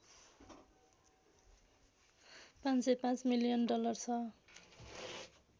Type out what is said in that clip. ५०५ million dollar छ